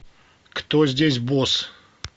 кто здесь босс